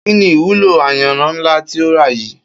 Kí ni ìwúlò ayanran ńlá tí o rà yìí?